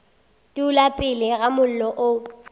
dula pele ga mollo o